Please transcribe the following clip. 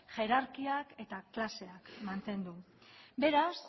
jerarkiak eta klaseak mantendu beraz